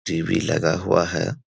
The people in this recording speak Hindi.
टी.वी. लगा हुआ है।